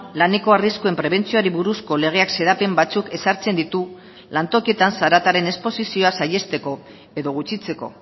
laneko arriskuen prebentzioari buruzko legeak xedapen batzuk ezartzen ditu lantokietan zarataren esposizioa saihesteko edo gutxitzeko